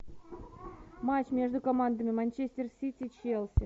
матч между командами манчестер сити челси